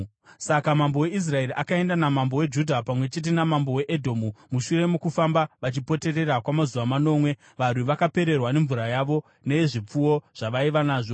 Saka mambo weIsraeri akaenda namambo weJudha pamwe chete namambo weEdhomu. Mushure mokufamba vachipoterera kwamazuva manomwe, varwi vakapererwa nemvura yavo, neyezvipfuwo zvavaiva nazvo.